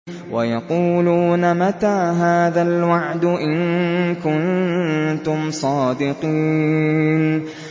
وَيَقُولُونَ مَتَىٰ هَٰذَا الْوَعْدُ إِن كُنتُمْ صَادِقِينَ